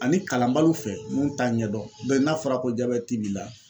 Ani kalanbaliw fɛ minnu t'a ɲɛdɔn n'a fɔra ko jabɛti b'i la